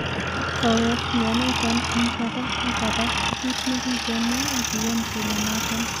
Kowek mionoton en kora ak kora ko kit ne kigemwa ag kiyan kele noton.